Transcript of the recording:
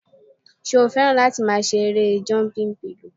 Ṣé o fẹ́ràn láti máa ṣe erée jọmpin pilò?